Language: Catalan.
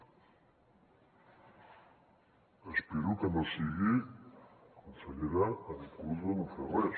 espero que no sigui consellera en curs de no fer res